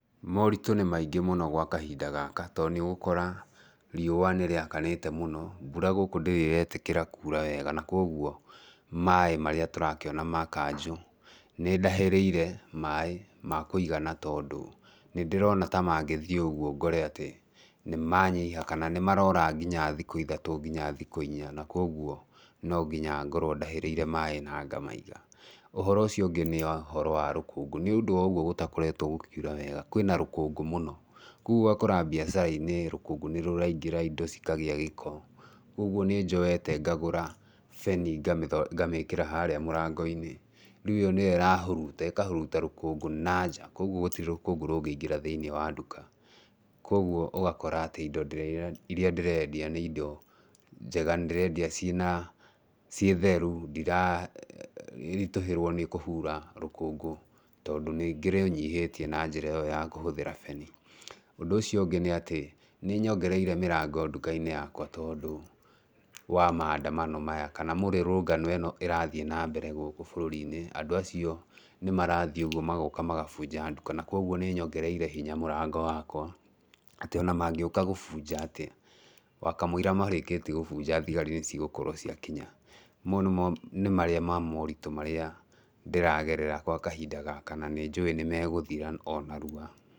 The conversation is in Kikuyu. Moritũ nĩ maingĩ mũno gwa kahinda gaka tondũ nĩũgũkora riũa nĩ rĩakanĩte mũno, mbura gũkũ ndĩrĩ ĩretĩkĩra kuura wega na koguo maĩ marĩa tũrakĩona ma kanjũ, nĩ ndahĩrĩire maĩ makũigana tondũ nĩndĩrona ta mangĩthiĩ ũguo ngore atĩ nĩ manyiha kana nĩ marora nginya thikũ ithatũ nginya thikũ inya na koguo no nginya ngorwo ndahĩrĩire maĩ na ngamaiga. Uhoro ũcio ũngĩ nĩ ũhoro wa rũkũngũ, nĩũndũ wa ũguo gũtakoretwo gũkiura wega, kwĩna rũkũngũ mũno, koguo ũgakora mbiacara-inĩ rũkũngũ nĩ rũraingĩra, indo cikagĩa gĩko. Koguo nĩ njoete ngagũra beni ngamĩkĩra harĩa mũrango-inĩ, rĩu ĩyo nĩyo ĩrahuruta, ĩkahuruta rũkũngũ na nja koguo gũtirĩ rũkũngũ rũngĩingĩra thĩinĩ wa nduka. Koguo ũgakora atĩ indo iria ndĩrendia nĩ indo njega, nĩndĩrendia ciĩna ciĩtheru, ndiraritũhĩrwo nĩ kũhura rũkũngũ, tondũ nĩ ngĩrũnyihĩtie na njĩra ĩyo ya kũhũthĩra beni. Ũndũ ũcio ũngĩ nĩ atĩ nĩ nyongereire mĩrango nduka-inĩ yakwa tondũ wa maandamano maya kana mĩrũrũngano ĩno ĩrathiĩ nambere gũkũ bũrũri-inĩ, andũ acio nĩ marathiĩ ũguo magoka magabunja nduka, na koguo nĩ nyongereire hinya mũrango wakwa, atĩ ona mangĩũka gũbunja atĩa, wakamũira marĩkĩtie gũbunja thigari nĩ cigũkorwo ciakinya. Mau nĩmo nĩ marĩa ma moritũ marĩa ndĩragerera gwa kahinda gaka, na nĩ njũi nĩ megũthira o narua.